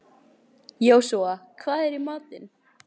Jósúa, hvað er í matinn?